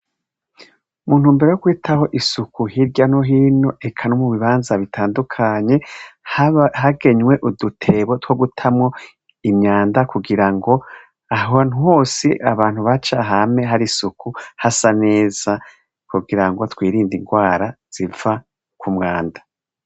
Muntumbero yo kwitaho isuku hirya no hino eka no mubibanza bitandukanye, hagenywe udutebo two gutamwo imyanda kugira ngo ahantu hose abantu baca hame hari isuku hasa neza, kugira ngo twirinde ingwara ziva kumwanda.